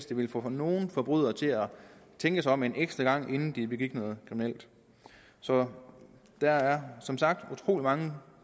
det ville få nogle forbrydere til at tænke sig om en ekstra gang inden de begik noget kriminelt så der er som sagt utrolig mange